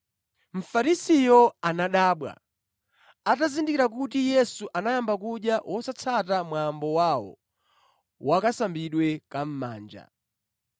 Mfarisiyo anadabwa atazindikira kuti Yesu anayamba kudya wosatsata mwambo wawo wakasambidwe ka mʼmanja.